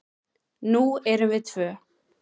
Nú erum við tvö.